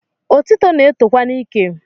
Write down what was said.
Otito na-etokwa n’ike